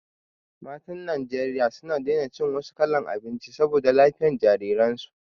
Matan Najeriya suna daina cin wasu kalan abinci saboda lafiyan jariran su